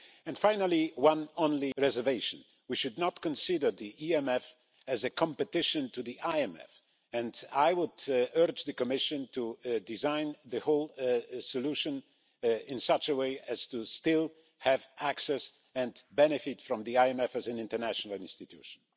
Lastly, just one reservation we should not consider the EMF as a competitor of the IMF, and I would urge the Commission to design the whole solution in such a way as to still have access to, and to benefit from, the IMF as an international institution.